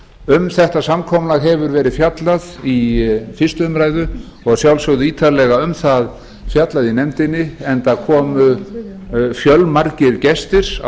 um þetta samkomulag hefur verið fjallað í fyrstu umræðu og að sjálfsögðu ítarlega um það fjallað í nefndinni enda komu fjölmargir gestir á